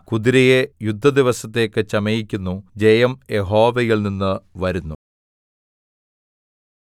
കുതിരയെ യുദ്ധദിവസത്തേക്ക് ചമയിക്കുന്നു ജയം യഹോവയിൽനിന്ന് വരുന്നു